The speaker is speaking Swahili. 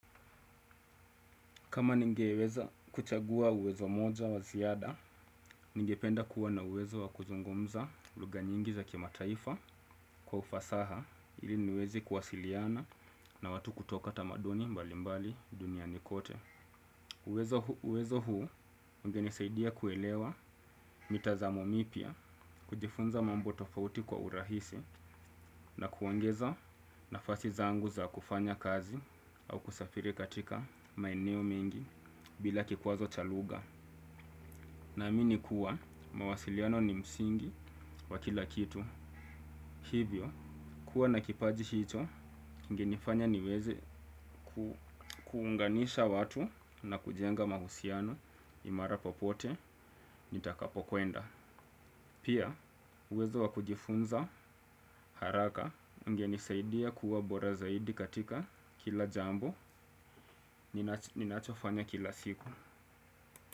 Kama ningeweza kuchagua uwezo mmoja wa ziada, ningependa kuwa na uwezo wa kuzungumza lugha nyingi za kimataifa kwa ufasaha ili niweze kuwasiliana na watu kutoka tamaduni mbali mbali duniani kote. Uwezo uwezo huu ungenisaidia kuelewa mitazamo mipya, kujifunza mambo tofauti kwa urahisi na kuongeza nafasi zangu za kufanya kazi au kusafiri katika maeneo mengi bila kikwazo cha lugha. Na amini kuwa mawasiliano ni msingi wa kila kitu. Hivyo, kuwa na kipaji hicho kingenifanya niweze kuunganisha watu na kujenga mahusiano imara popote nitakapokwenda. Pia, uwezo wa kujifunza haraka ungenisaidia kuwa bora zaidi katika kila jambo ninachofanya kila siku.